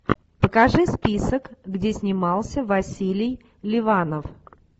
покажи список где снимался василий ливанов